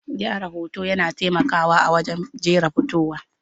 Gyara hoto yana taimakawa a wajen jera fitowa.